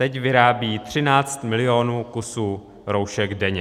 Teď vyrábějí 13 milionů kusů roušek denně.